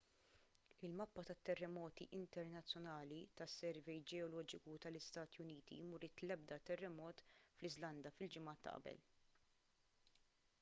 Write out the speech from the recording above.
il-mappa tat-terremoti internazzjonali tas-servej ġeoloġiku tal-istati uniti m'uriet l-ebda terremot fl-iżlanda fil-ġimgħa ta' qabel